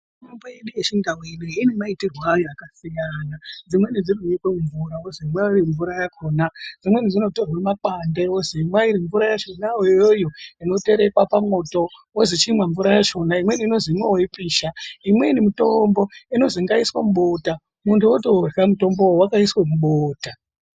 Mitombo yedu yechindau ine maitirwo akasiyana. Dzimweni dzinonyikwa mumvura wozomwa mvura yakona, dzimweni dzinotorwa makwande wonzi imwai mvura yakona iyoyo inoterekwa pamoto wonzi chimwa mvura yakona imweni inonzi imwawo yeipisha imweni mitombo inonzi ngaiswe mubota muntu wotorya mutombowo wakasisa mubota.